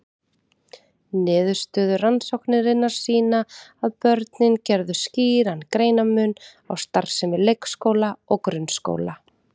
Niðurstöður rannsóknarinnar sýna að börnin gerðu skýran greinarmun á starfsemi leikskóla og grunnskóla.